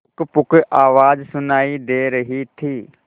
पुकपुक आवाज सुनाई दे रही थी